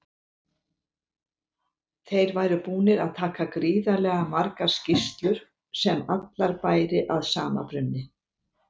Þeir væru búnir að taka gríðarlega margar skýrslur sem allar bæri að sama brunni.